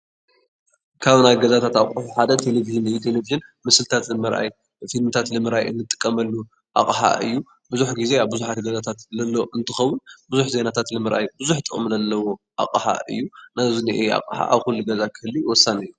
ካብ ናይ ገዛታት ኣቑሑ ሓደ ቴለቨዥን እዩ፡፡ ቴለቨዥን ምስልታት ንምርኣይ፣ ፊልምታት ንምርኣይ እንጥቀመሉ ኣቕሓ እዩ፡፡ ብዙሕ ጊዜ ኣብ ብዙሓት ገዛታት ለሎ እንትኸውን ብዙሕ ዜናታት ንምርኣይ ብዙሕ ጥቕሚ ለለዎ ኣቕሓ እዩ፡፡ እና እዚ እኒአ ኣቕሓ ኣብ ኩሉ ገዛ ክህሉ ወሳኒ እዩ፡፡